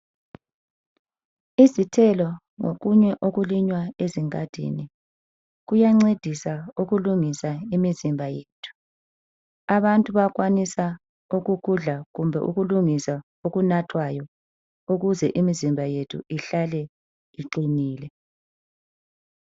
Izithelo ngokunye okulinywa ezingadini kuyancedisa ukulungisa imizimba yethu. Abantu bayakwanisa ukukudla kumbe ukulungisa okunathwayo ukuze imizimba yethu ihlale iqinile.